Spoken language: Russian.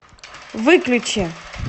выключи